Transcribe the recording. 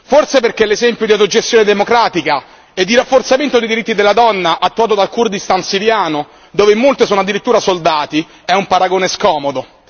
Forse perché l'esempio di autogestione democratica e di rafforzamento dei diritti della donna attuati dal Kurdistan siriano, dove molte sono addirittura soldati è un paragone scomodo.